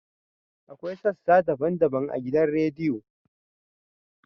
Akwai sassa daban-daban a gidan rediyo.